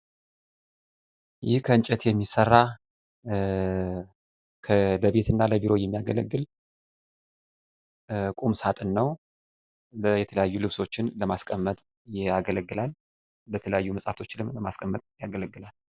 የማስታወቂያ ዘመቻዎች የረጅም ጊዜ እቅድና ወጥ የሆነ መልዕክት ማስተላለፍን የሚጠይቁ ሲሆን የምርት ስምን ለማጠናከር ያግዛሉ።